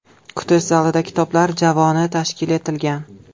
Kutish zalida kitoblar javoni tashkil etilgan.